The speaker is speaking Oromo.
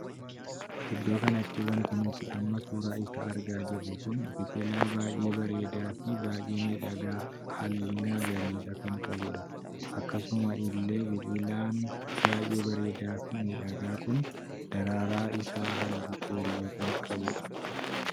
Iddoo kanatti wanti nuti amma suuraa isaa argaa jirru kun biqilaa baay'ee bareedaa fi baay'ee miidhagaa halluu magariisa kan qabudha. akkasuma illee biqilaan baay'ee bareedaa fi miidhagaa kun daraaraan isaa halluu keelloo kan qabudha.